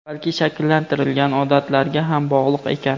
balki shakllantirilgan odatlarga ham bog‘liq ekan.